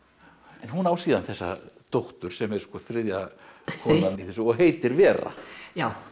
en hún á síðan þessa dóttur sem er þriðja konan í þessu og heitir Vera já